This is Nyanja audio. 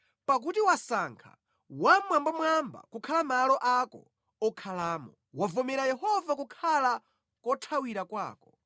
Pakuti wasankha Wammwambamwamba kukhala malo ako okhalamo; wavomera Yehova kukhala kothawira kwako.